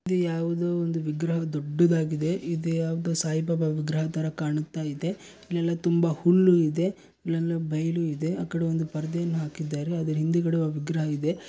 ಇದು ಯಾವುದೋ ಒಂದು ವಿಗ್ರಹ ದೊಡ್ಡದಾಗಿದೆ ಇದು ಯಾವುದೋ ಸಾಯಿಬಾಬಾ ವಿಗ್ರಹ ತರ ಕಾಣುತ್ತಾ ಇದೆ ಇಲ್ಲೆಲ್ಲ ತುಂಬಾ ಹುಲ್ಲು ಇದೇ ಇಲ್ಲೆಲ್ಲ ಬಯಲು ಇದೆ ಆ ಕಡೆ ಒಂದು ಪರದೆಯನ್ನು ಹಾಕಿದ್ದಾರೆ ಅದರ ಹಿಂದುಗಡೆ ಒಂದು ವಿಗ್ರಹವಿದೆ.